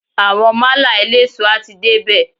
Àwọn málà eléso a ti dé bè.